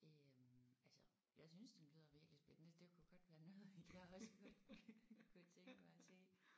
Øh altså jeg synes det lyder virkelig spændende det kunne godt være noget jeg også godt kunne tænke mig at se